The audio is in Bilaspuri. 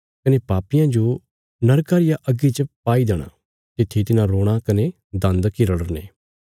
कने पापियां जो नरका रिया अग्गी च पाई देणा तित्थी तिन्हां रोणा कने दान्द किरड़ने